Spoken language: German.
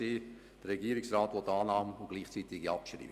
Der Regierungsrat will deren Annahme und gleichzeitige Abschreibung.